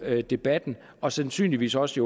debatten og sandsynligvis også